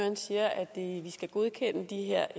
ja og